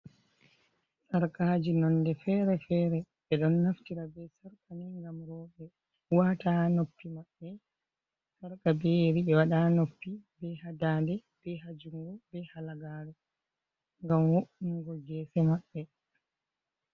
Sarkaji nonde fere-fere ɓe ɗon naftira be sarkani ngam roɓe wata ha noppi maɓɓe. Sarka be yeri ɓe waɗa ha noppi, be ha daande, be ha jungo, be halagare ngam wo’ungo ngese maɓɓe.